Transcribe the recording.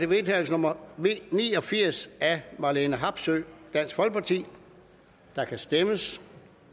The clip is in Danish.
vedtagelse nummer v ni og firs af marlene harpsøe og der kan stemmes